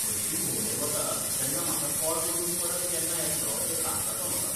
हरशीं भोंवडेर वता तेन्ना म्हाका कॉल करून परत केन्ना येतलो तें सांगता तो म्हाका.